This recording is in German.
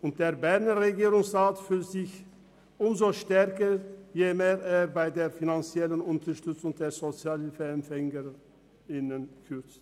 Doch der Berner Regierungsrat fühlt sich umso stärker, je mehr er bei der finanziellen Unterstützung der Sozialhilfeempfängerinnen und -empfänger kürzt.